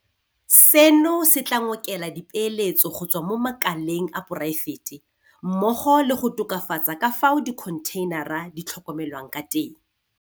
Seno se tla ngokela dipeeletso go tswa mo makaleng a poraefete mmogo le go tokafatsa ka fao dikho ntheinara di tlhokomelwang ka teng.